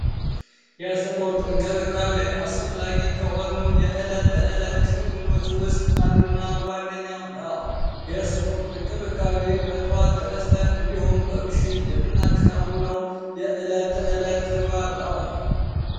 የስፖርት እንቅስቃሴ ከእለት ተዕለት ክንዋኔዎች ያስፈላጊ ከሆኑ ነገሮች ዋነኛው ነው የእስፖርት ጥቅም በጠዋት ተነስተን እንዲሁም በምሽት የሚናከናውነው የዕለት ተእለት ተግባር ነው።